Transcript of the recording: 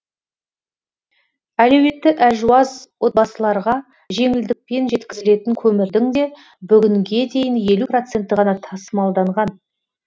әлеуеті әлжуаз отбасыларға жеңілдікпен жеткізілетін көмірдің де бүгінге дейін елу проценті ғана тасымалданған